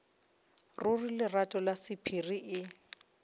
ruri lerato la sephiri e